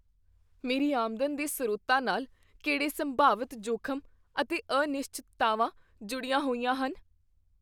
ਮੇਰੀ ਆਮਦਨ ਦੇ ਸਰੋਤਾਂ ਨਾਲ ਕਿਹੜੇ ਸੰਭਾਵਿਤ ਜੋਖਮ ਅਤੇ ਅਨਿਸ਼ਚਿਤਤਾਵਾਂ ਜੁੜੀਆਂ ਹੋਈਆਂ ਹਨ?